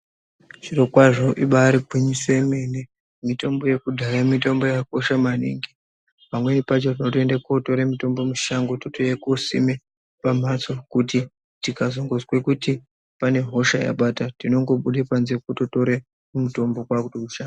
Zviro kwazvo ibari gwinyiso yemene mitombo yekudhaya mitombo yakakosha maningi pamweni pacho unotoende kotore mutombo mushango totouya kosime pamhatso kuti tikazongozwe kuti pane hosha yabata tinongobude panze kutotore mutombo kwakutousha.